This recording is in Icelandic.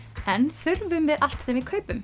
en þurfum við allt sem við kaupum